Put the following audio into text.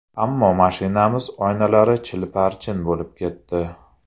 Ammo mashinamiz oynalari chil-parchin bo‘lib ketdi.